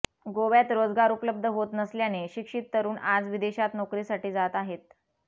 गोव्यात रोजगार उपलब्ध होत नसल्याने शिक्षित तरुण आज विदेशात नोकरीसाठी जात आहेत